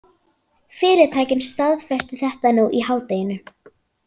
Fyrirtækin staðfestu þetta nú í hádeginu